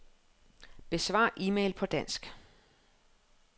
Besvar e-mail på dansk.